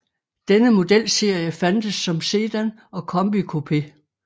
Denne modelserie fandtes som sedan og combi coupé